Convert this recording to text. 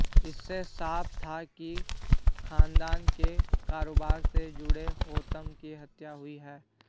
इससे साफ था कि खदान के कारोबार से जुड़े होतम की हत्या हुई है